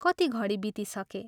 कति घडी बितिसके।